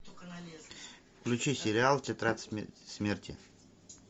включи сериал тетрадь смерти